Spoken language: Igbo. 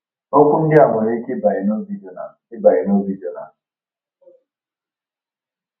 Okwu ndị a nwere ike ịbanye n’obi Jona. ịbanye n’obi Jona.